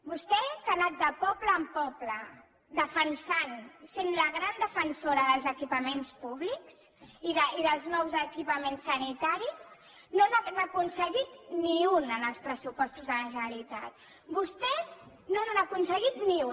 vostè que ha anat de poble en poble defensant sent la gran defensora dels equipaments públics i dels nous equipaments sanitaris no n’ha aconseguit ni un en els pressupostos de la generalitat vostès no n’han aconseguit ni un